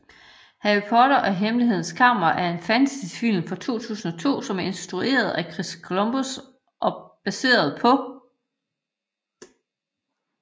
Harry Potter og Hemmelighedernes Kammer er en fantasyfilm fra 2002 som er instrueret af Chris Columbus og baseret på J